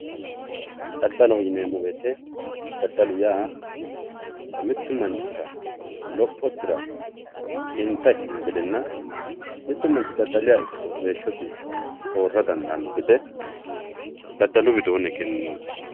daddaloho yineemo woyiite daddalu yaa mittu manchira lophosira xinta ikino gedenna mittu manch dadaliha ikkiro heeshosi soora dandaanno gede daddalu widooni egeninoomo.